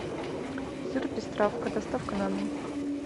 сыр пестравка доставка на дом